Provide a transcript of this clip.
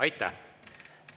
Aitäh!